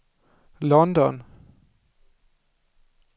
London